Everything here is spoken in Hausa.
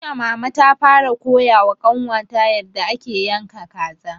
Jiya mama ta fara koya wa ƙanwa ta yarda ake yanka kaza